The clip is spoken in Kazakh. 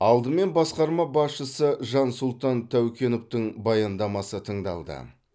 алдымен басқарма басшысы жансұлтан тәукеновтің баяндамасы тыңдалды